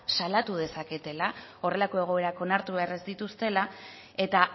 salatu dezaketela horrelako egoerak onartu behar ez dituztela eta